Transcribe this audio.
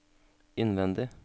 innvendig